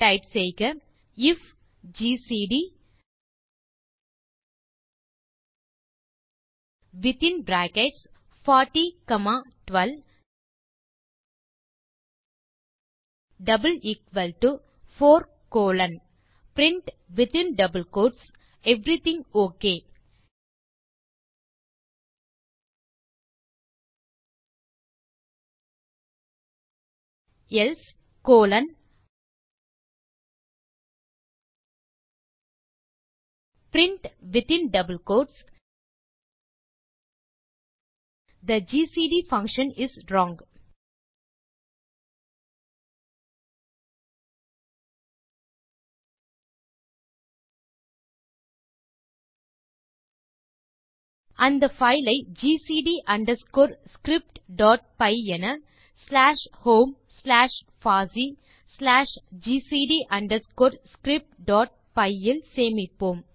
type செய்க if GCD within bracket 40 comma 12 4 colon print within double quotes everything okay else colon print within double quotes the GCD function is wrong அந்த file ஐ GCD underscore scriptபை என slash home slash பாசி slash GCD underscore scriptபை இல் சேமிப்போம்